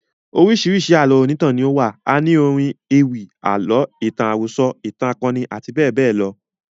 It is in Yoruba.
Oríṣiríṣi Àlọ́ onítàn ni ó wà. A ní orin ewì, àlọ́, ìtàn àròso, ìtàn akoni àti bẹ́ẹ̀ bẹ́ẹ̀ lọ.